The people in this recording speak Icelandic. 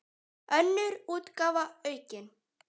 Önnur útgáfa, aukin.